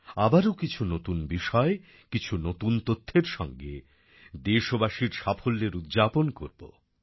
আবারও কিছু নতুন বিষয় কিছু নতুন তথ্যের সঙ্গে দেশবাসীর সাফল্যের উদ্যাপন করবো